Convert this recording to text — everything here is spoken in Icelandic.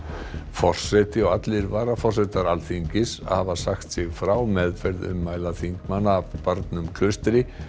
forseti og allir varaforsetar Alþingis hafa sagt sig frá meðferð ummæla þingmanna af barnum Klaustri